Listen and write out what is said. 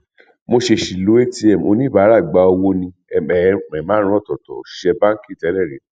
mo ṣeṣì lo atm oníbàárà gba owó ní ẹ márùnún ọtọọtọ òṣìṣẹ báńkì tẹlẹrí